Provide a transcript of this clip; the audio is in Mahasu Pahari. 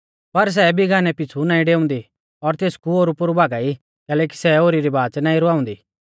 पर सै बिगानै पीछ़ु नाईं डेउंदी और तेसकु ओरुपोरु भागा ई कैलैकि सै ओरी री बाच़ नाईं रवाउंदी